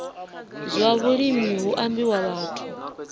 zwa vhulimi hu ambiwa vhathu